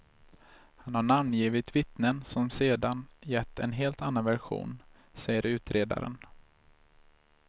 Han har namngivit vittnen som sedan gett en helt annan version, säger utredaren.